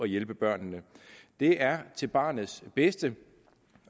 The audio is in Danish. hjælpe børnene det er til barnets bedste